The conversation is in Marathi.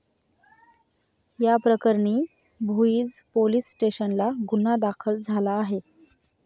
याप्रकरणी भुईंज पोलीस स्टेशनला गुन्हा दाखल झाला आहे.